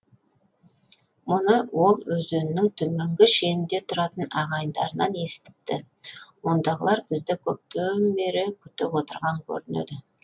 мұны ол өзеннің төменгі шенінде тұратын ағайындарынан естіпті ондағылар бізді көптен бері күтіп отырған көрінеді